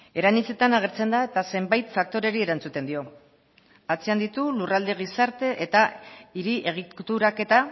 era anitzetan agertzen da eta zenbait faktoreri erantzuten dio atzean ditu lurralde gizarte eta hiri egituraketa